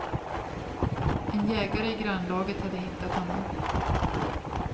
En jägare i grannlaget hade hittat honom.